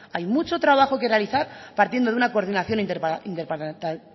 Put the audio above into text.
hay mucho trabajo que realizar partiendo de una coordinación